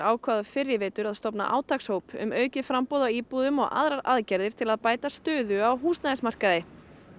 ákváðu fyrr í vetur að stofna um aukið framboð á íbúðum og aðrar aðgerðir til að bæta stöðu á húsnæðismarkaði